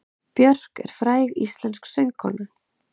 Björk er fræg íslensk söngkona.